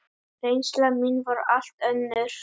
Reynsla mín var allt önnur.